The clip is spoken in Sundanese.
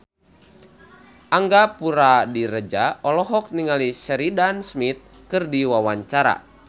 Angga Puradiredja olohok ningali Sheridan Smith keur diwawancara